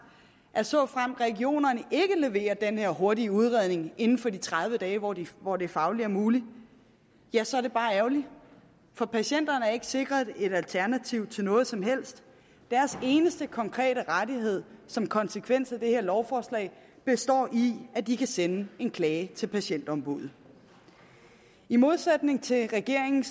at såfremt regionerne ikke leverer den her hurtige udredning inden for de tredive dage hvor det hvor det fagligt er muligt ja så er det bare ærgerligt for patienterne er ikke sikret et alternativ til noget som helst deres eneste konkrete rettighed som konsekvens af det her lovforslag består i at de kan sende en klage til patientombuddet i modsætning til regeringen